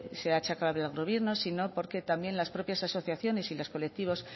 se achaca hablar del gobierno sino porque también las propias asociaciones y los colectivos